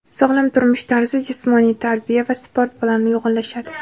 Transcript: Sog‘lom turmush tarzi jismoniy tarbiya va sport bilan uyg‘unlashadi.